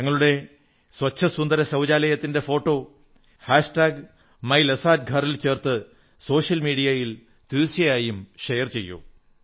തങ്ങളുടെ സ്വച്ഛ സുന്ദര ശൌചാലയത്തിന്റെ ഫോട്ടോ മൈൽസത്ഗാർ ചേർത്ത് സോഷ്യൽ മീഡിയയിൽ തീർച്ചയായും ഷെയർ ചെയ്യൂ